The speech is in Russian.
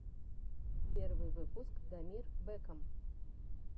первый выпуск дамир бэкам